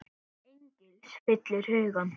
Angist fyllir hugann.